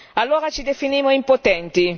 Allora ci definimmo impotenti.